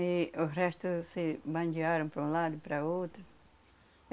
E os restos se bandearam para um lado e para o outro.